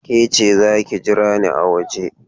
Ke ce, za ki jira ni a waje!